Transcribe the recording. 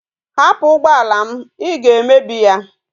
Hapu ugboala m! I ga emebi ya